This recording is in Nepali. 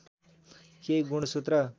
केही गुणसूत्र